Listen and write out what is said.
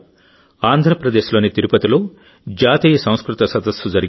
ఆంధ్రప్రదేశ్లోని తిరుపతిలో జాతీయ సంస్కృత సదస్సు జరిగింది